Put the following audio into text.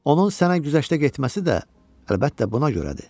Onun sənə güzəşdə getməsi də, əlbəttə, buna görədir.